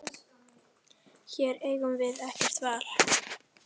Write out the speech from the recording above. Hér eigum við ekkert val.